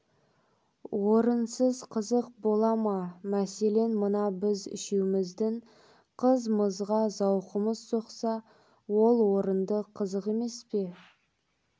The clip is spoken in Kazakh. орынсыз қызық бола ма мәселен мына біз үшеуіміздің қыз-мызға зауқымыз соқса ол орынды қызық емес пе